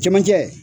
Jamajɛ